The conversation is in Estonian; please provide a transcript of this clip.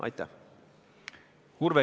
Urve Tiidus, palun!